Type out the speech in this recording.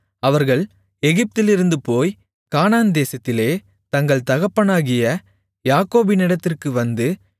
அவர்கள் எகிப்திலிருந்து போய் கானான்தேசத்திலே தங்கள் தகப்பனாகிய யாக்கோபினிடத்திற்கு வந்து